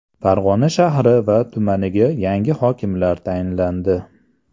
Farg‘ona shahri va tumaniga yangi hokimlar tayinlandi.